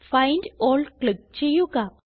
find all click ചെയ്യുക